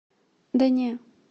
да не